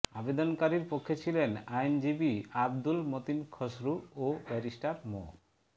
আবেদনকারীর পক্ষে ছিলেন আইনজীবী আবদুল মতিন খসরু ও ব্যারিস্টার মো